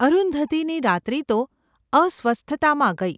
અરુંધતીની રાત્રિ તો અસ્વસ્થતામાં ગઈ.